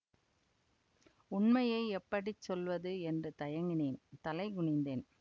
உண்மையை எப்படி சொல்வது என்று தயங்கினேன் தலை குனிந்தேன்